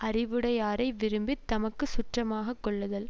அறிவுடையாரை விரும்பி தமக்கு சுற்றமாக கொள்ளுதல்